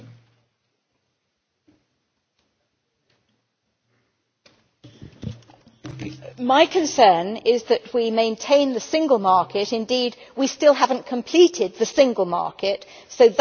My concern is that we should maintain the single market and indeed we still have not completed the single market which is important, but it is equally important, and possibly more so,